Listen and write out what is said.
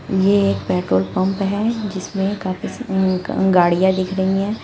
ये एक petrol pump है जिसमें काफी गाड़ियां दिख रही हैं।